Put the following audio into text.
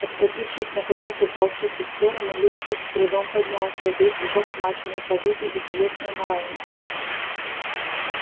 откатившись наконец от волчицы в сторону лип лип с трудом поднялся весь взлохмаченный побитый и телесно и морально